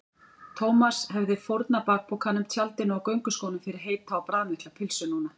Thomas hefði fórnað bakpokanum, tjaldinu og gönguskónum fyrir heita og bragðmikla pylsu núna.